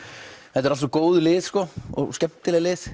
þetta eru allt svo góð lið og skemmtileg lið